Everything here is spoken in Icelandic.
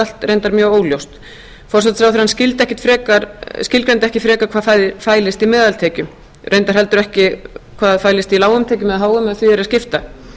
allt reyndar mjög óljóst forsætisráðherrann skilgreindi ekki frekar hvað fælist í meðaltekjum reyndar ekki heldur hvað fælist í lágum tekjum eða háum ef því er að skipta